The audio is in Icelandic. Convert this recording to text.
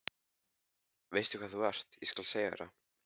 Veistu hvað þú ert, ég skal segja þér það.